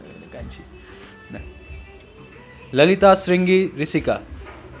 ललिता श्रृंगी ऋषिका